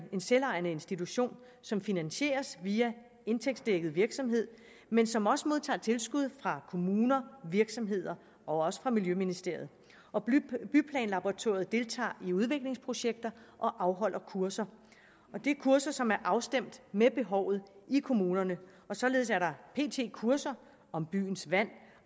selvejende institution som finansieres via indtægtsdækket virksomhed men som også modtager tilskud fra kommuner virksomheder og fra miljøministeriet byplanlaboratoriet deltager i udviklingsprojekter og afholder kurser og det er kurser som er afstemt med behovet i kommunerne således er der pt kurser om byens vand